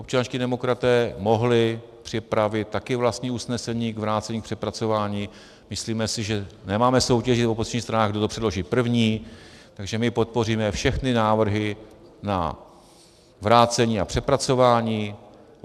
Občanští demokraté mohli připravit také vlastní usnesení k vrácení k přepracování, myslíme si, že nemáme soutěžit v opozičních stranách, kdo to předloží první, takže my podpoříme všechny návrhy na vrácení a přepracování.